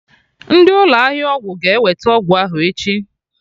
Ndị ụlọ ahịa ọgwụ ga-eweta ọgwụ ahụ echi